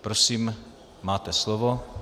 Prosím, máte slovo.